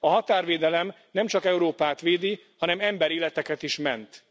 A határvédelem nemcsak Európát védi, hanem emberéleteket is ment.